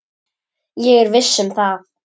Ég er viss um það.